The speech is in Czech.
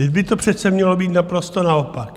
Vždyť by to přece mělo být naprosto naopak.